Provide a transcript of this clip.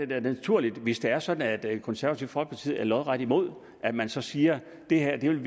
naturligt hvis det er sådan at det konservative folkeparti er lodret imod at man så siger at det her vil